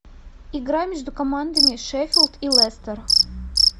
игра между командами шеффилд и лестер